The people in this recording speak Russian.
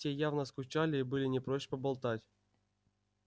те явно скучали и были не прочь поболтать